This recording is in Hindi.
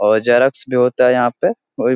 और जीरोक्स भी होता यहाँ पे --